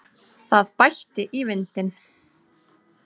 Það bætti í vindinn.